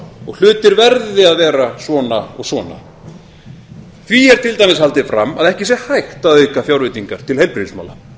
og hlutir verði að vera svona og svona því er til dæmis haldið fram að ekki sé hægt að aukafjárveitingar til heilbrigðismála